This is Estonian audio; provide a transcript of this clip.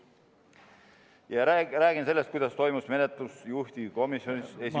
Ja räägin sellest, kuidas toimus menetlus juhtivkomisjonis esimese ...